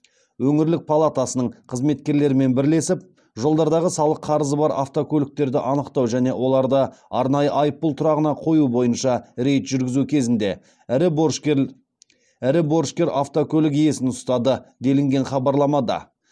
өңірлік палатасының қызметкерлерімен бірлесіп жолдардағы салық қарызы бар автокөліктерді анықтау және оларды арнайы айыппұл тұрағына қою бойынша рейд жүргізу кезінде ірі борышкер автокөлік иесін ұстады делінген хабарламада